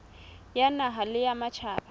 ya naha le ya matjhaba